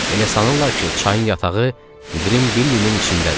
Elə sanırlar ki, çayın yatağı Qrim Billinin içindədir.